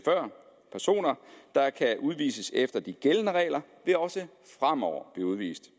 personer der kan udvises efter de gældende regler også fremover blive udvist